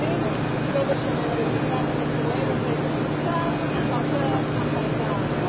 Mən üç min üç yüzdə beş min beş yüz, doqquz min dörd yüz doqquz min, doqquz min doqquz yüz doqquz min beş yüz doqquz min.